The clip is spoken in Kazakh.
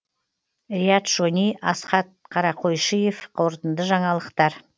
риат шони асхат қарақойшиев қорытынды жаңалықтар